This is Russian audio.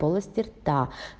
полости рта